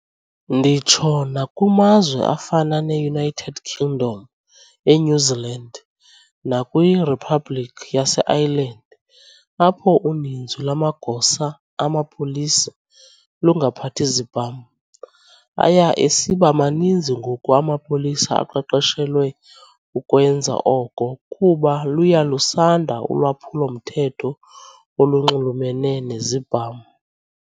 Nditsho nakumazwe afana ne-United Kingdom, eNew Zealand nakwiRhiphabhlikhi yase Ireland apho uninzi lwamagosa amapolisa lungaphathi zibham, aya esiba maninzi ngoku amapolisa aqeqeshelwe ukwenza oko kuba luya lusanda ulwaphulo-mthetho olunxulumene nezibham.